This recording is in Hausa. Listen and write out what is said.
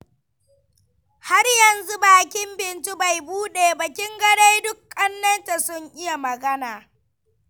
Har yanzu bakin Bintu bai buɗe ba, kin ga duk ƙannenta sun iya magana.